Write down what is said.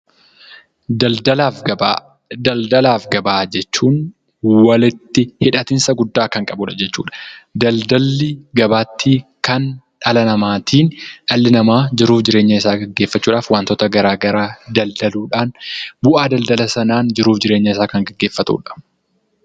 Daldalaaf gabaa , daldalaaf gabaa jechuun walitti hidhatinsa guddaa kan qabudha jechuudha. Daldalli gabaatti kan dhala namaatiin dhalli namaa jiruuf jireenya isaa geggeeffachuudhaaf wantoota garaa garaa daldaluudhaan bu'aa daldala sanaan jiruuf jireenya isaa kan geggeeffatuudha.